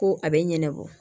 Ko a bɛ ɲɛnabɔ